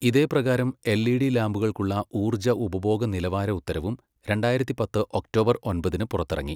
ഇതേ പ്രകാരം L E D ലാമ്പുകൾക്കുള്ള ഊർജ്ജ ഉപഭോഗ നിലവാര ഉത്തരവും രണ്ടായിരത്തിപ്പത്ത് ഒക്ടോബർ ഒൻപതിന് പുറത്തിറങ്ങി.